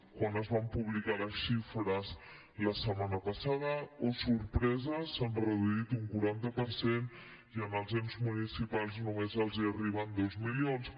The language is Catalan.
quan es van publicar les xifres la setmana passada oh sorpresa s’han reduït un quaranta per cent i en els ens municipals només els hi arriben dos milions